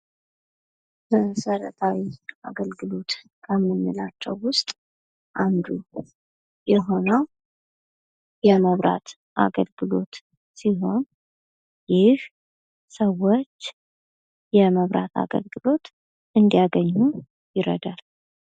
መሰረታዊ አገልግሎት ከምንላቸው ውስጥ አንዱ የሆነው የመብራት አገልግሎት ሲሆን ይህ ሰወች የመብራት አገልግሎት እንዲያገኙ ይረዳል።